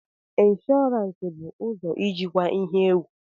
Insurance bụ ụzọ ijikwa ihe egwu.